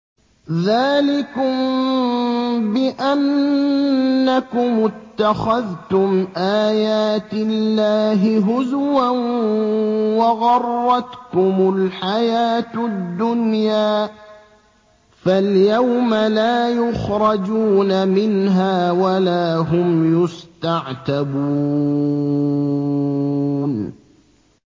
ذَٰلِكُم بِأَنَّكُمُ اتَّخَذْتُمْ آيَاتِ اللَّهِ هُزُوًا وَغَرَّتْكُمُ الْحَيَاةُ الدُّنْيَا ۚ فَالْيَوْمَ لَا يُخْرَجُونَ مِنْهَا وَلَا هُمْ يُسْتَعْتَبُونَ